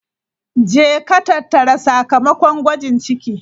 Jeka tattara sakamakon gwajin ciki!